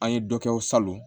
An ye dɔ kɛ o salon